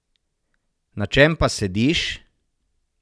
Na čem pa sediš?